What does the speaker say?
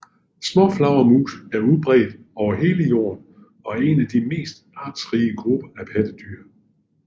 Småflagermus er udbredt over hele jorden og er en af de mest artsrige grupper af pattedyr